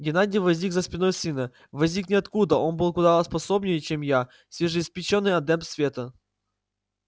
геннадий возник за спиной сына возник ниоткуда он был куда способнее чем я свежеиспечённый адепт света